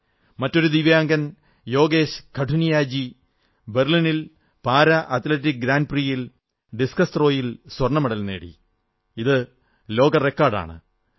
മറ്റൊരു ദിവ്യാംഗൻ യോഗേശ് കഠുനിയാജി ബെർലിനിൽ പാരാ അത്ലറ്റിക്സ് ഗ്രാന്റ് പ്രിയിൽ ഡിസ്കസ് ത്രോ യിൽ സ്വർണ്ണ മെഡൽ നേടിക്കൊണ്ട് ലോക റെക്കാഡ് സ്ഥാപിച്ചു